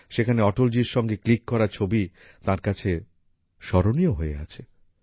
সেখানে অটলজির সঙ্গে ক্লিক করা ছবি তাঁর কাছে স্মরণীয় হয়ে আছে